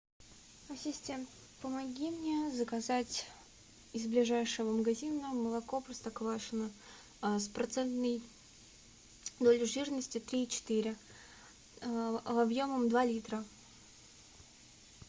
ассистент помоги мне заказать из ближайшего магазина молоко простоквашино с процентной долей жирности три и четыре объемом два литра